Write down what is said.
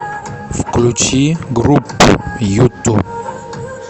включи группу юту